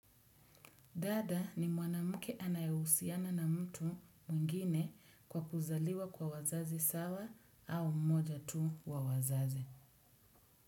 Dada ni mwanamke anayehusiana na mtu mwingine kwa kuzaliwa kwa wazazi sawa au mmoja tu wa wazazi.